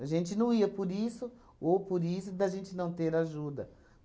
A gente não ia por isso ou por isso da gente não ter ajuda.